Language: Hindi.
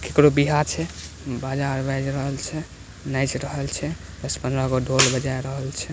केकरो ब्याह छै बाजा बायेज रहल छै नाच रहल छै दस पंद्रह गो ढोल बजा रहल छै।